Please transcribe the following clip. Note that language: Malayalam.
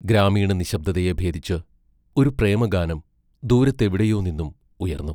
ഗ്രാമീണ നിശ്ശബ്ദതയെ ഭേദിച്ച്, ഒരു പ്രേമഗാനം ദൂരത്തെവിടെയോ നിന്നും ഉയർന്നു.